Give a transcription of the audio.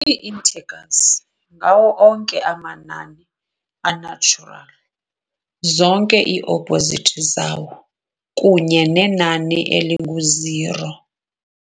Ii-integers ngawo onke amanani a-natural, zonke ii-opposites zawo, kunye nenani eling-u-zero.